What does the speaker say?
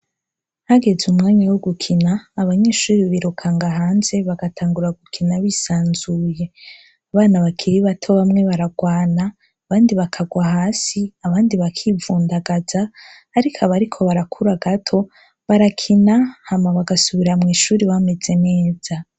Hageze umwanya wo gukina, abanyeshure birukanga hanze, bagatangura gukina bisanzuye. Abana bakiri bato bamwe baragwana, abandi bakagwa hasi, abandi bakivundagaza ariko abariko barakura gato, barakina hama bagasubira mw'ishure bameze neza.